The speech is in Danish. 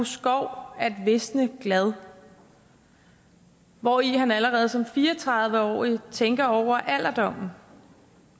skov at visne glad hvori han allerede som fire og tredive årig tænker over alderdommen